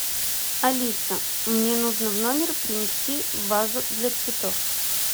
алиса мне нужно в номер принести вазу для цветов